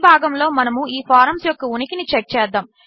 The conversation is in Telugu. ఈభాగములోమనముఈఫారంస్యొక్కఉనికినిచెక్చేద్దాము